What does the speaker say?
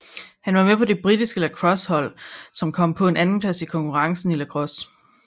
Han var med på det britiske lacrossehold som kom på en andenplads i konkurrencen i lacrosse